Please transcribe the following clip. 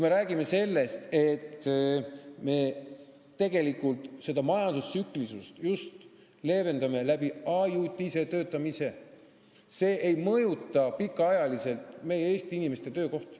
Me räägime sellest, et me tegelikult majanduse tsüklilisust just leevendame ajutise töötamise abil, see ei mõjuta pikaajaliselt Eesti inimeste töökohti.